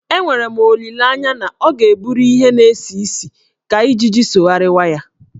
Enwere m olileanye na ọ ga-eburu ihe na-esi isi ka ijiji sogharịwa ya.